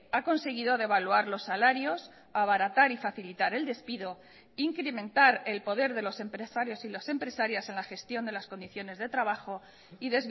ha conseguido devaluar los salarios abaratar y facilitar el despido incrementar el poder de los empresarios y las empresarias en la gestión de las condiciones de trabajo y